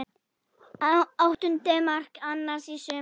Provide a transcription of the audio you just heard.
Áttunda mark hans í sumar.